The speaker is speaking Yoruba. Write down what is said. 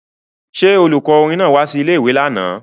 Ṣé olùkọ́ orin náà wá sí ilé-ìwé lánàá